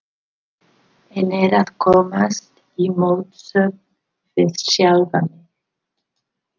En er að komast í mótsögn við sjálfa mig.